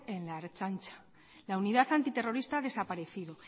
en la ertzaintza la unidad antiterrorista ha desaparecido